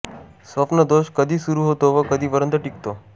स्वप्न दोष कधी सुरू होतो व कधीपर्यंत टिकतो